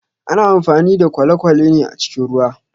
Ana amfani da kwalekwale ne a cikin ruwa